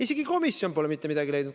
Isegi komisjonid pole mitte midagi leidnud.